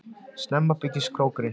Snemma beygist krókurinn